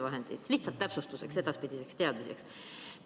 See lihtsalt täpsustuseks ja edaspidiseks teadmiseks.